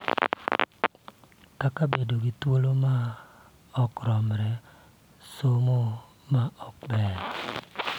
Kaka bedo gi thuolo ma ok romre, somo ma ok ber,